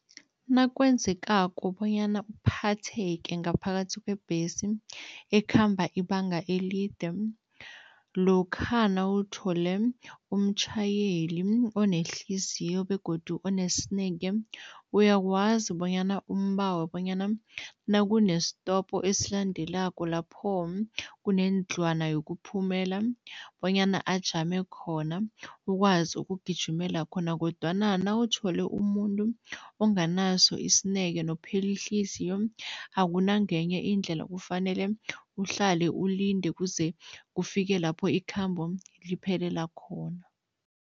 Nakwenzekako bonyana uphatheke ngaphakathi kwebhesi ekhamba ibanga elide, lokha nawuthole umtjhayeli onehliziyo begodu onesineke, uyakwazi bonyana umbawe bonyana nakunesitopo esilandelako lapho kunendlwana yokuphumelela bonyana ajame khona ukwazi ukugijimela khona kodwana nawuthole umuntu onganaso isineke nophela ihliziyo, akunangenye indlela, kufanele uhlale ulinde kuze kufike lapho ikhambo liphelela khona.